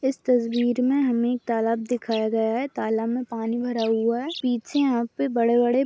इस तस्वीर मे हमे एक तालाब दिखाया गया है तालाब मे पानी भरा हुआ है पीछे यहाँ पे बड़े बड़े--